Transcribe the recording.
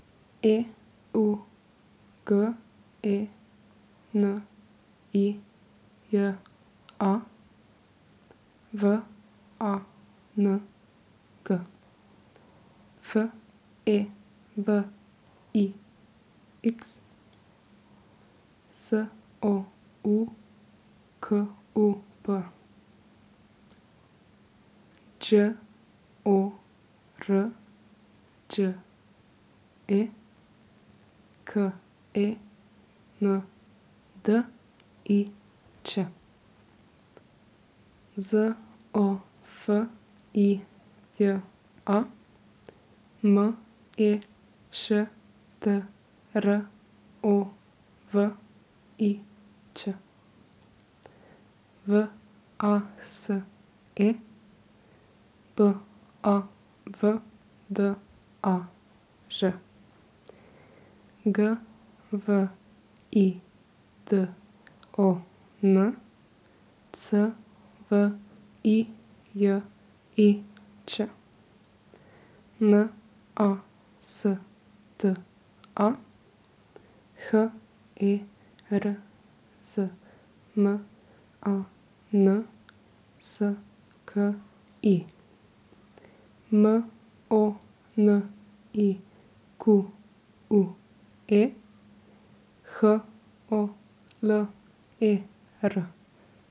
E U G E N I J A, V A N G; F E L I X, S O U K U P; Đ O R Đ E, K E N D I Č; Z O F I J A, M E Š T R O V I Ć; V A S E, B A V D A Ž; G V I D O N, C V I J I Č; N A S T A, H E R Z M A N S K I; M O N I Q U E, H O L E R.